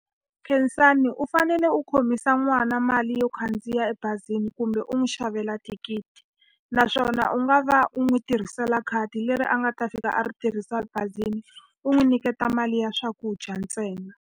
Khensani u fanele u khomisa n'wana mali yo khandziya ebazini kumbe u n'wi xavela thikithi. Naswona u nga va u n'wi tirhisela khadi leri a nga ta fika a ri tirhisa bazini, u n'wi nyiketa mali ya swakudya ntsena.